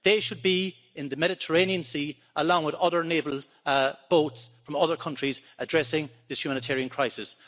They should be in the Mediterranean Sea, along with other naval boats from other countries, addressing this humanitarian crisis.